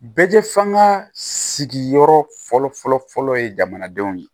Bɛɛ fan ka sigiyɔrɔ fɔlɔ fɔlɔ fɔlɔ ye jamanadenw ye